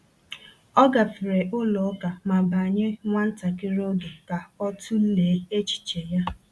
O gafere ụlọ ụka ma banye nwa ntakịrị oge ka ọ tụlee echiche ya.